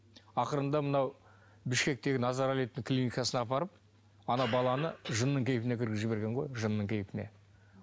ақырында мынау бішкектегі назаралиевтің клиникасына апарып ана баланы жынның кейіпіне кіргізіп жіберген ғой жынның кейіпіне